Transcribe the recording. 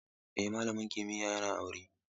Eh, malamin kimiyya yana aure.